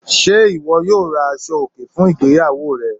Ṣé iwọ yóò rá àṣọ̀-ọkè fún ìgbéyàwó rẹ?